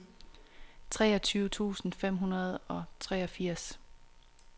treogtyve tusind fem hundrede og treogfirs